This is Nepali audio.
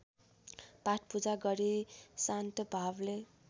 पाठपूजा गरी शान्तभावले